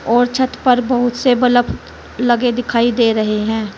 और छत पर बहुत से बल्ब लगे दिखाई दे रहे हैं।